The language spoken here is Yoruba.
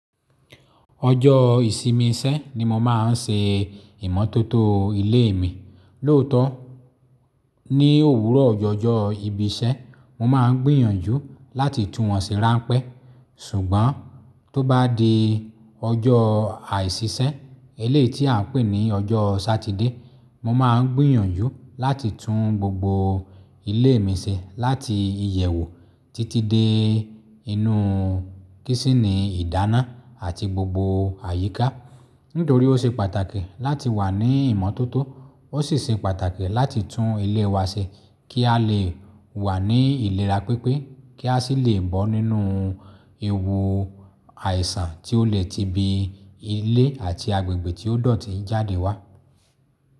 Ọjọ̀ ìsinmi iṣẹ́ ni mo máa ń ṣe ìmọ́tótó ilé mi. Lóòótó, ní òwúrọ̀ ọjọ́ ọjọ́ ibi iṣẹ́, mo máa ń gbìyànjú láti tú wọn ṣe ránpẹ́. Sùgbọ́n tó bá di ọjọ́ àìsíṣẹ́, elé tí à ń pè ní ọjọ́ Sátidé, mo máa ń gbìyànjú láti tún gbogbo ilé mi ṣe láti iyèwou títí dé inú kísínì ìdáná àti gbogbo àyíká. Nítorí ó ṣe pàtàkì láti wà ní ìmọ́tótó, ó sì ṣe pàtàkì láti tún ilé wa ṣe kí á lè wà ní ìlera pipé, kí á sì lè bọ́ nínú ewu àìsàn tí ó lè ti bí ilé àti agbègbè tí ó dọ̀tí jáde wá.